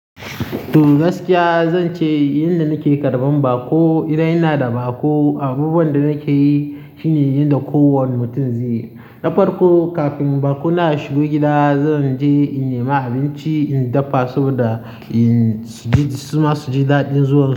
To gaskiya zance yanda nake karɓan baƙo, idan inada baƙo abubuwanda nake yi shine yanda kowane mutum zaiyi na farko kafin baƙona ya shigo gida, zanje in nema abinci, in dafa saboda in ji suma su ji daɗin zuwa.